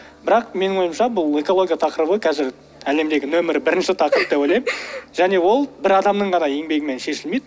бірақ менің ойымша бұл экология тақырыбы қазір әлемдегі номер бірінші тақырып деп ойлаймын және ол бір адамның ғана еңбегімен шешілмейді